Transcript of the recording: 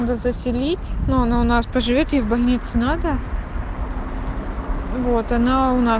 но заселить но она у нас по живёт ей в больницу надо вот она у нас